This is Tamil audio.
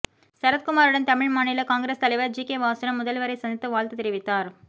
சரத்குமாருடன் தமிழ் மாநில காங்கிரஸ் தலைவர் ஜிகே வாசனும் முதல்வரை சந்தித்து வாழ்த்து தெரிவித்தார்